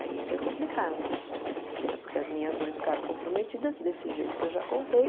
Aí foi complicado, né porque as minhas ficaram comprometidas, desse jeito que eu já contei.